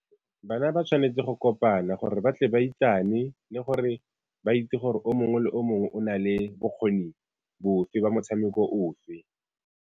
Bana ba tshwanetse go kopana gore ba tle ba itsane, le gore ba itse gore o mongwe le o mongwe o na le bokgoni bofe ba motshameko ofe.